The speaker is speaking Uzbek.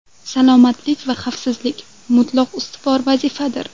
Salomatlik va xavfsizlik mutlaq ustuvor vazifadir.